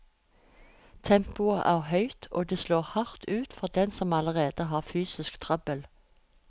Tempoet er høyt, og det slår hardt ut for dem som allerede har fysisk trøbbel.